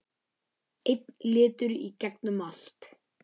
Einn litur í gegnum allt.